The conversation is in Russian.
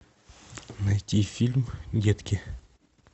найти фильм детки